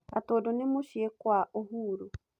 Gatundu nĩ mũciĩ kwa Uhuru.